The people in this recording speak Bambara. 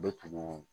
Bɛ tugun